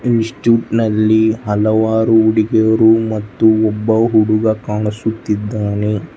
ಇನ್ಸ್ಟಿಟ್ಯೂಟ್ನಲ್ಲಿ ಹಲವಾರು ಹುಡುಗಿಯರು ಮತ್ತು ಒಬ್ಬ ಹುಡುಗ ಕಾಣಿಸುತ್ತಿದ್ದಾನೆ.